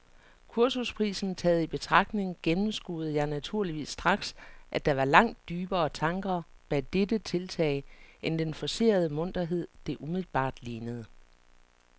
Kursusprisen taget i betragtning gennemskuede jeg naturligvis straks, at der var langt dybere tanker bag dette tiltag end den forcerede munterhed, det umiddelbart lignede.